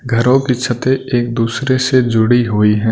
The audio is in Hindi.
घरों की छतें एक दूसरे से जुड़ी हुई हैं।